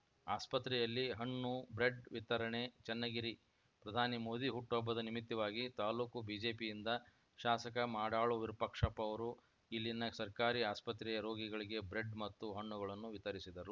ಆಸ್ಪತ್ರೆಯಲ್ಲಿ ಹಣ್ಣು ಬ್ರೆಡ್‌ ವಿತರಣೆ ಚನ್ನಗಿರಿ ಪ್ರಧಾನಿ ಮೋದಿ ಹುಟ್ಟು ಹಬ್ಬದ ನಿಮಿತ್ತವಾಗಿ ತಾಲೂಕು ಬಿಜೆಪಿಯಿಂದ ಶಾಸಕ ಮಾಡಾಳು ವಿರೂಪಾಕ್ಷಪ್ಪ ಅವರು ಇಲ್ಲಿನ ಸರ್ಕಾರಿ ಆಸ್ಪತ್ರೆಯ ರೋಗಿಗಳಿಗೆ ಬ್ರೇಡ್‌ ಮತ್ತು ಹಣ್ಣುಗಳನ್ನು ವಿತರಿಸಿದರು